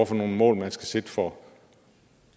for nogle mål man skal sætte for